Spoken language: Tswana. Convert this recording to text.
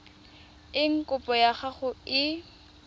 eng kopo ya gago e